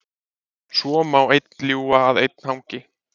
Svo má einn ljúga að einn hangi.